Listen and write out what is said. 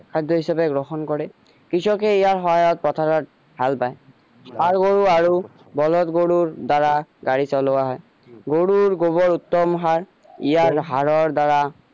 খাদ্য হিচাপে গ্ৰহণ কৰে কৃষকে ইয়াৰ সহায়ত পথাৰত হাল বাই ষাৰ গৰু আৰু বলধ গৰুৰ দ্বাৰা গাড়ী চলোৱা হয় গৰুৰ গোবৰ উত্তম সাৰ ইয়াৰ সাৰৰ দ্বাৰা